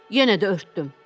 Yenə də örtdüm.